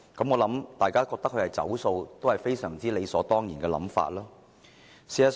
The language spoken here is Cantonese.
我認為，大家覺得他"走數"也是很理所當然。